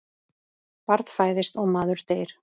Barn fæðist og maður deyr.